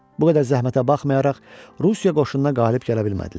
Bu qədər zəhmətə baxmayaraq, Rusiya qoşununa qalib gələ bilmədilər.